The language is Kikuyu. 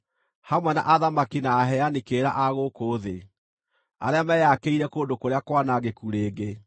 hamwe na athamaki na aheani kĩrĩra a gũkũ thĩ arĩa meeyakĩire kũndũ kũrĩa kwanangĩku rĩngĩ,